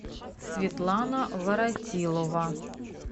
светлана воротилова